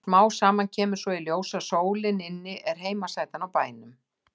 Smám saman kemur svo í ljós að sólin inni er heimasætan á bænum.